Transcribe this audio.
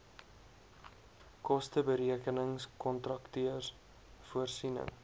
kosteberekenings kontakteurs voorsiening